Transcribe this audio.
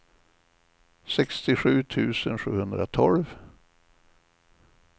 sextiosju tusen sjuhundratolv